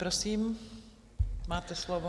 Prosím, máte slovo.